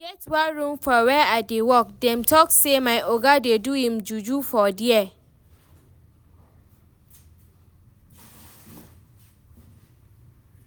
E get one room for where I dey work, dem talk say my oga dey do im juju for there